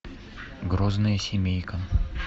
грозная семейка